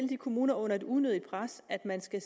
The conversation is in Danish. de kommuner under et unødigt pres at man skal